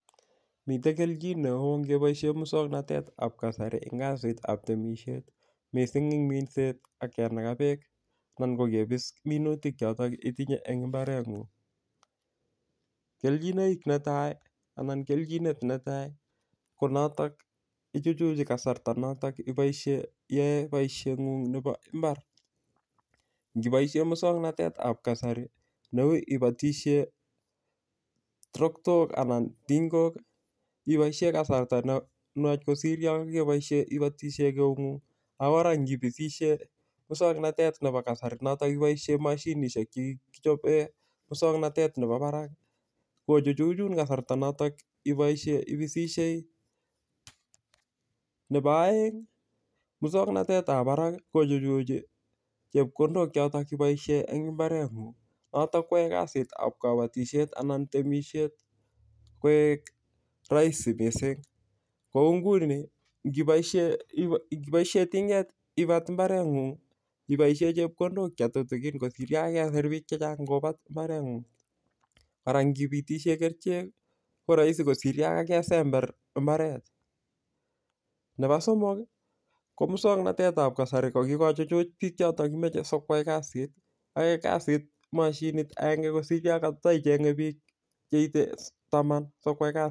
Miten kelchin neo ngebaiien musuaknotet tab kasari en temisiet, missing en minset anginaga bekangebis minutik choto cheitinye en imbaret ng'ung ih. Kechinet netai ko ichuchuche kasarta noto kobaisien, iyae baishet ng'u Ng nebo ibmar. Kebaisien mukswanotetab kasari neuu I atisien ting'ok ih ibaisien kasarta nenuach kosir Yoon kebaisien I atisien eut ng'ung. Akot ibosishei ibaisien kisak natetab kasari kichoben musuaknotet nebo barak ih kochuchun kasarta noto ibosishei nebo aeng musuaknotet tab barak ih kochuchi chebkondok choton chekatakibasien imberet ng'ung noton koyae kasitab kabatisiet anan temisiet koek raisi missing kou nguni, ingibaisien ting'et ibat Ibat imbaret ng'ung I aishen chebkondok chetutikin kosir yankesir bik kobat imbaret ng'ung mara ingibitishen kerichek ko rahisi kosir Yoon kokebat imbaret nebo somok ko musak notet ko kikochuchuch bik choton komache sikoyai kasit ae kasit mashinit agenge kosir yankatecheng'e bik taman .